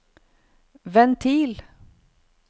ventil